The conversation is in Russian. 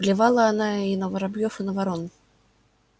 плевала она и на воробьёв и на ворон